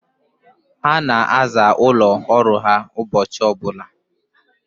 Ha na-aza ụlọ ọrụ ha ụbọchị ọbụla.